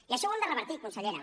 i això ho hem de revertir consellera